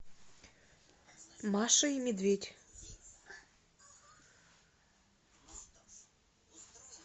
маша и медведь